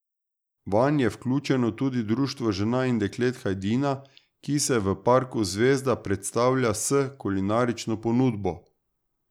Vanj je vključeno tudi Društvo žena in deklet Hajdina, ki se v parku Zvezda predstavlja s kulinarično ponudbo.